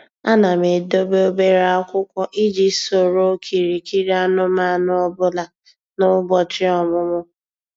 Ana m edobe obere akwụkwọ iji soro okirikiri anụmanụ ọ bụla na ụbọchị ọmụmụ.